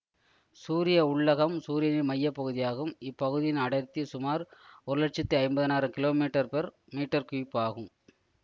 சூரிய உள்ளகம் சூரியனின் மைய பகுதியாகும் இப்பகுதியின் அடர்த்தி சுமார் ஒரு லட்சத்தி ஐம்பதனாயிரம் கிலோகிராம்மீட்டர்கியூப் ஆகும்